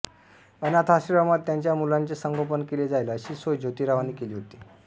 अनाथाश्रमात त्यांच्या मुलांचे संगोपन केले जाईल अशी सोय जोतीरावांनी केली होती